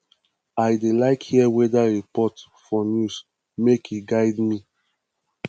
i dey like hear weather report for news make e guide me